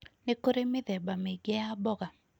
Nĩ kũrĩ mĩthemba mĩingĩ ya mboga.